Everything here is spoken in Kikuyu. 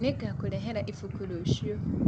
Nĩngakũrehera ĩbũkũ rũcĩũ